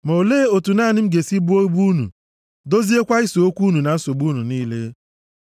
Ma olee otu naanị m ga-esi buo ibu unu, doziekwa ise okwu unu na nsogbu unu niile?